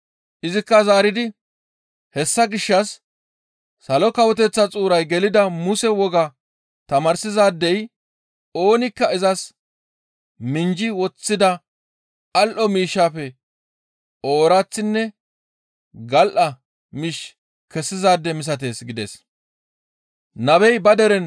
Izikka zaaridi, «Hessa gishshas Salo Kawoteththa xuuray gelida Muse wogaa tamaarsizaadey oonikka izas minjji woththida al7o miishshafe ooraththinne gal7a miish kessizaade misatees» gides.